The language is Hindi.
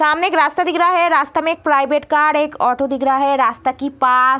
सामने एक रास्ता दिख रहा है रास्ता में एक प्राइवेट कार एक ऑटो दिख रहा है रास्ता की पास --